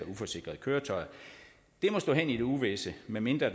uforsikrede køretøjer må stå hen i det uvisse medmindre